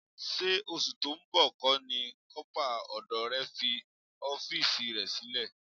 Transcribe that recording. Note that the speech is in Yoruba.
Ṣé oṣù tó ń bọ̀ kọ́ ni kọ́pà ọdọ rẹ fi ọ́fíìsì rẹ sílẹ̀?